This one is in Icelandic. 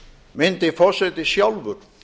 myndi forseti sjálfur